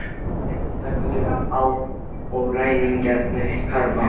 Kyrrð fellur á og ræningjarnir hverfa.